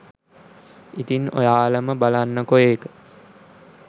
ඉතින් ඔයාලම බලන්නකො ඒක